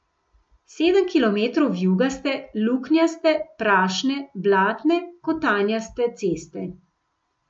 Sedem kilometrov vijugaste, luknjaste, prašne, blatne, kotanjaste, ceste.